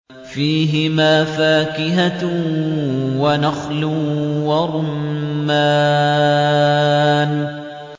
فِيهِمَا فَاكِهَةٌ وَنَخْلٌ وَرُمَّانٌ